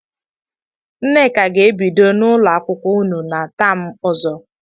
Nneka ga-ebido n'ụlọakwụkwọ ụnụ na taam ọzọ.